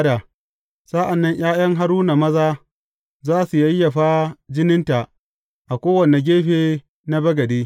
Sa’an nan ’ya’yan Haruna maza za su yayyafa jininta a kowane gefe na bagade.